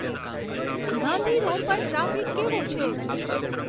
Gandhi road પર traffic કેવો છે